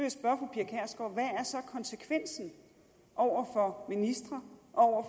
konsekvensen over for ministre og over